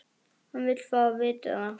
Hann vill fá að vita það.